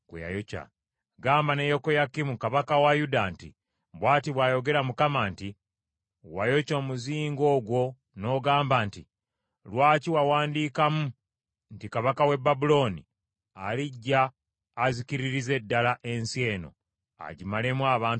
Gamba ne Yekoyakimu kabaka wa Yuda nti, ‘Bw’ati bw’ayogera Mukama nti, Wayokya omuzingo ogwo n’ogamba nti, “Lwaki wakiwandiikamu nti kabaka w’e Babulooni alijja azikiririze ddala ensi eno agimalemu abantu n’ensolo?”